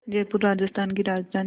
जयपुर राजस्थान की राजधानी है